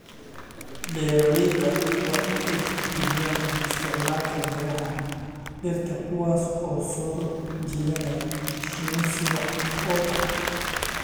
Beeralayda waa in ay tixgeliyaan isticmaalka miraha dhirta kuwaas oo soo jiidanaya shinni si wax ku ool ah.